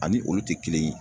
Ani olu te kelen ye